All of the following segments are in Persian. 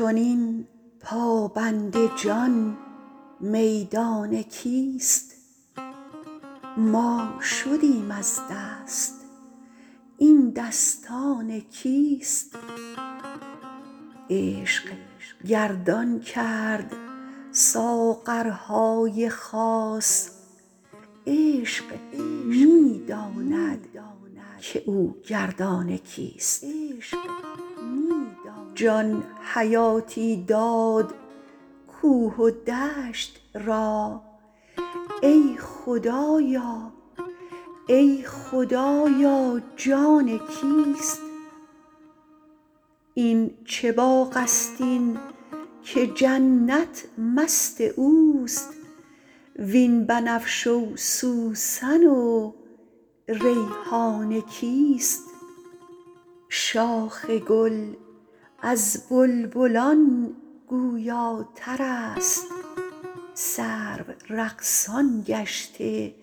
این چنین پابند جان میدان کیست ما شدیم از دست این دستان کیست عشق گردان کرد ساغرهای خاص عشق می داند که او گردان کیست جان حیاتی داد کوه و دشت را ای خدایا ای خدایا جان کیست این چه باغست این که جنت مست اوست وین بنفشه و سوسن و ریحان کیست شاخ گل از بلبلان گویاترست سرو رقصان گشته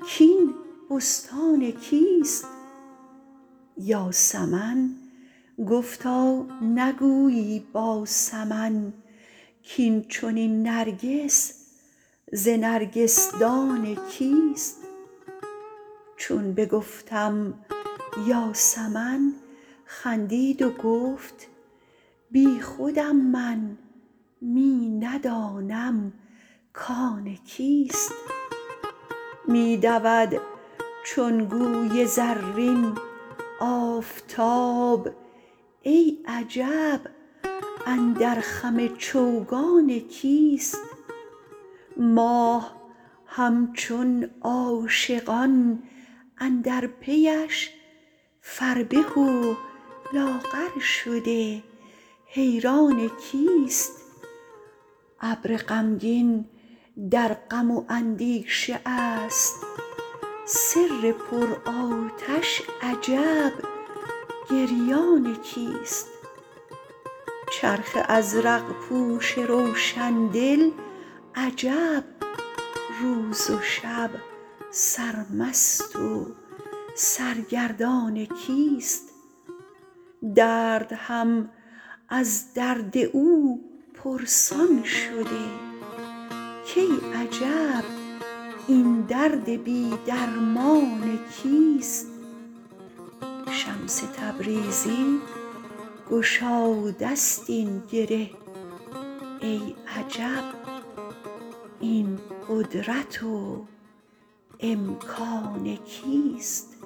کاین بستان کیست یاسمن گفتا نگویی با سمن کاین چنین نرگس ز نرگسدان کیست چون بگفتم یاسمن خندید و گفت بیخودم من می ندانم کان کیست می دود چون گوی زرین آفتاب ای عجب اندر خم چوگان کیست ماه همچون عاشقان اندر پیش فربه و لاغر شده حیران کیست ابر غمگین در غم و اندیشه است سر پرآتش عجب گریان کیست چرخ ازرق پوش روشن دل عجب روز و شب سرمست و سرگردان کیست درد هم از درد او پرسان شده کای عجب این درد بی درمان کیست شمس تبریزی گشاده ست این گره ای عجب این قدرت و امکان کیست